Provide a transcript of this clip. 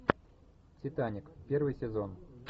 титаник первый сезон